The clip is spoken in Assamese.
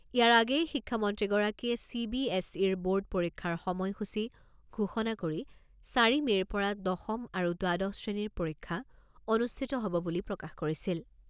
ইয়াৰ আগেয়ে শিক্ষামন্ত্ৰীগৰাকীয়ে চি বি এছ ইৰ বোৰ্ড পৰীক্ষাৰ সময় সূচী ঘোষণা কৰি চাৰি মে'ৰ পৰা দশম আৰু দ্বাদশ শ্ৰেণীৰ পৰীক্ষা অনুষ্ঠিত হ'ব বুলি প্ৰকাশ কৰিছিল।